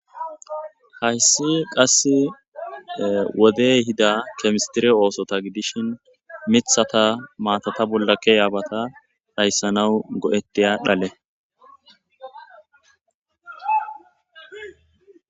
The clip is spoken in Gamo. Hayssi qasse woddey ehidda chemistereta ooso giddishin miththata maatata bolla ke'iyabbata dhayssanawu go'ttiya dhalle.